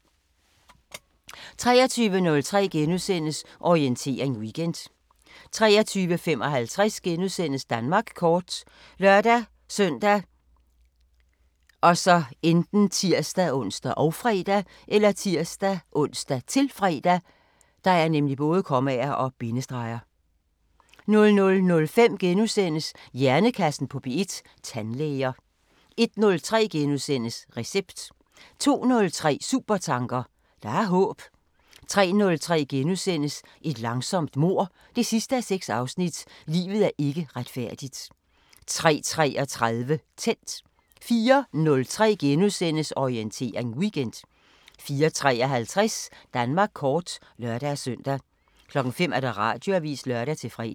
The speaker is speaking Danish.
23:03: Orientering Weekend * 23:55: Danmark kort *( lør-søn, tir-ons, -fre) 00:05: Hjernekassen på P1: Tandlæger * 01:03: Recept * 02:03: Supertanker: Der er håb 03:03: Et langsomt mord 6:6 – Livet er ikke retfærdigt * 03:33: Tændt 04:03: Orientering Weekend * 04:53: Danmark kort (lør-søn) 05:00: Radioavisen (lør-fre)